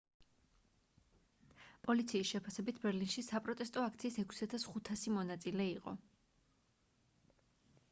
პოლიციის შეფასებით ბერლინში საპროტესტო აქციის 6500 მონაწილე იყო